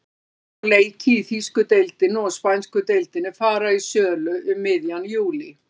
Ferðir á leiki í þýsku deildinni og spænsku deildinni fara í sölu um miðjan júlí.